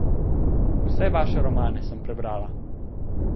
Vse vaše romane sem prebrala ...